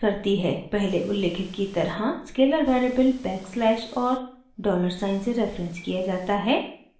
पहले उल्लिखित की तरह स्केलर वेरिएबल बैकस्लैश और डॉलर साइन से रेफरेंस किया जाता है